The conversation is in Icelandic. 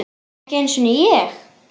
Ekki einu sinni ég!